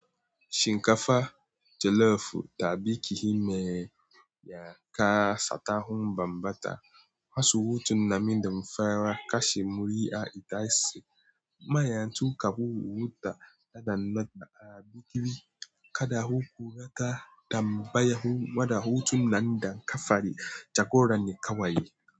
Shinkafa jollof, ta biki me ya kasata hun bambata, hasu hutun nan mindum fara kashi muri'a ita se. Maya tuka bu huta da dannobba a bikin kada huku rata dam baya hu wada hutun nan dam kafari jagoran ne kawai.